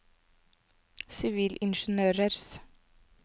sivilingeniørers